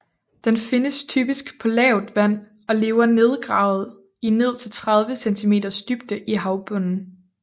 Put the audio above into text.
Den findes typisk på lavt vand og lever nedgravet i ned til 30 centimeters dybde i havbunden